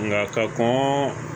Nka ka kɔn